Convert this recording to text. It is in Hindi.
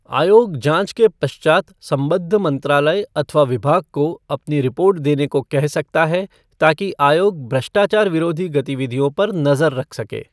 आयोग जांच के पश्चात संबद्ध मंत्रालय अथवा विभाग को अपनी रिपोर्ट देने को कह सकता है ताकि आयोग भ्रष्टचाचार विरोधी गतिविधियों पर नजर रख सके।